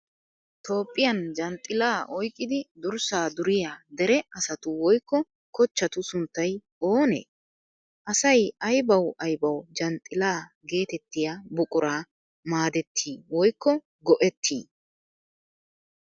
Toophphiyan janxxillaa oyqqidi durssaa duriya dere asatu woykko kochchatu sunttay oonee? Asay aybawu aybawu janxxillaa geetettiya buquraa maadettii woykko go'ettii?